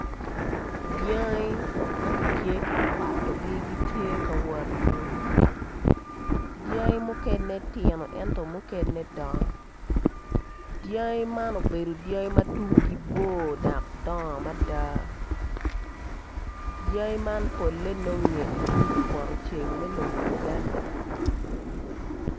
Dyangi ma gitye ka kwatogi gitye ka wot i yor dyangi mukene tino ento mukene dongo dyangi man gubedo dyangi ma tungi bo dok gidongo mada dyangi man pole nonge itung kupotoceng me lobo Uganda